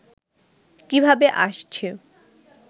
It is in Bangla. কিভাবে আসছে